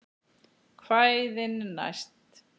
Kvæðin næst?